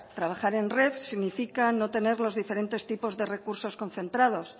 trabajar en red significa no tener los diferentes tipos de recursos concentrados